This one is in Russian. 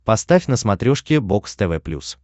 поставь на смотрешке бокс тв плюс